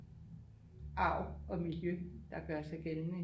Arv og miljø der gør sig gældende